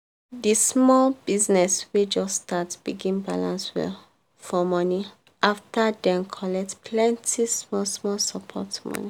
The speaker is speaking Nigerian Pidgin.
di small business wey just start begin balance well for money after dem collect plenty small-small support mon